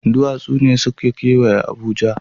Duwatsu ne suka kewaye Abuja.